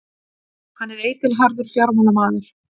Hann er eitilharður fjármálamaður.